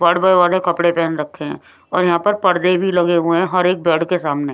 बड़बर वाले कपड़े पहन रखे हैं और यहां पर पर्दे भी लगे हुए हैं हर एक बेड के सामने।